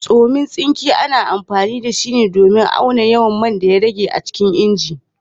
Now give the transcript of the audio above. Tsomen tsinke, ana amfani da shi ne domin auna yawan man daya rage a cikin inji